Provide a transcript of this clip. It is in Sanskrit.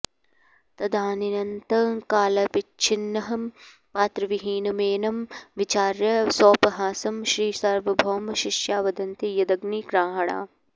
तदानीन्तनकालावच्छिन्नं पात्रविहीनमेनं विचार्य सोपहासं श्रीसार्वभौम शिष्या वदन्ति यदग्नि गृहाण